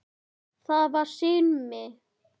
Það var Simmi.